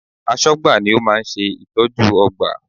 Aṣọ́gbà ni ó máa ń ṣe ìtọ́jú ọgbà